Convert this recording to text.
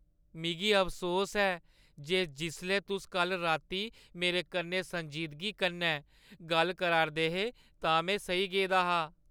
मिगी अफसोस ऐ जे जिसलै तुस कल्ल राती मेरे कन्नै संजीदगी कन्नै गल्ल करा 'रदे हे तां में सेई गेआ हा।